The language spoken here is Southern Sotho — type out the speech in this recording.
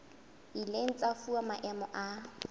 ileng tsa fuwa maemo a